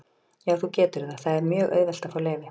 Já, þú getur það, það er mjög auðvelt að fá leyfi.